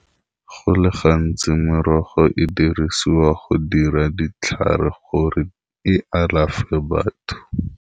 Go le gantsi merogo e dirisiwa go dira ditlhare gore e alafe batho.